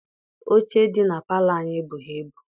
Oche dị na palọ anyị ebughị ibu.